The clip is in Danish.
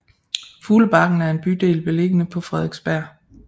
Fuglebakken er en bydel beliggende på Frederiksberg